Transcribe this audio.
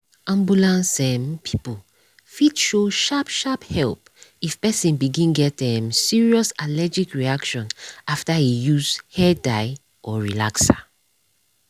ambulance um people fit show sharp sharp help if person begin get um serious allergic reaction after use hair dye or relaxer.